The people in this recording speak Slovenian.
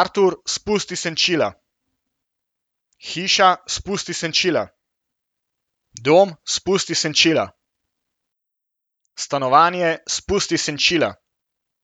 Artur, spusti senčila. Hiša, spusti senčila. Dom, spusti senčila. Stanovanje, spusti senčila.